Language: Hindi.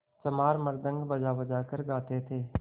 चमार मृदंग बजाबजा कर गाते थे